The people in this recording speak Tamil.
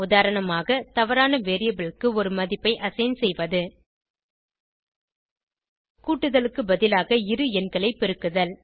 உதாரணமாக தவறான வேரியபிள் க்கு ஒரு மதிப்பை அசைன் செய்வது கூட்டுதலுக்கு பதிலாக இரு எண்களை பெருக்குதல்